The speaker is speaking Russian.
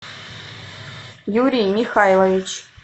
юрий михайлович